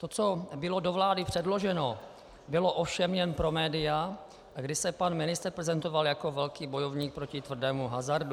To, co bylo do vlády předloženo, bylo ovšem jen pro média, kdy se pan ministr prezentoval jako velký bojovník proti tvrdému hazardu.